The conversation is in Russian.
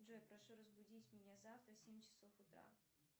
джой прошу разбудить меня завтра в семь часов утра